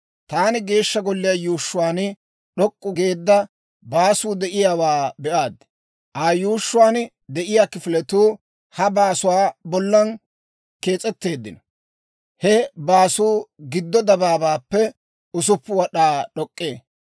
Taani Geeshsha Golliyaa yuushshuwaan d'ok'k'u geedda baasuu de'iyaawaa be'aad. Aa yuushshuwaan de'iyaa kifiletuu he baasuwaa bollan kees'etteeddino; he baasuu giddo dabaabaappe 6 wad'aa d'ok'k'ee.